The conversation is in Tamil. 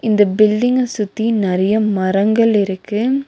இந்த பில்டிங்க சுத்தி நெறைய மரங்கள் இருக்கு.